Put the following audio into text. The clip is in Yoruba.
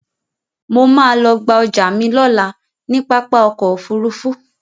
Mo ma lọ gba ọjà mi lọ́la ní pápá ọkọ̀ Òfurufú